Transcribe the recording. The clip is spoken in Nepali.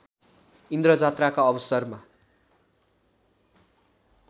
इन्द्रजात्राका अवसरमा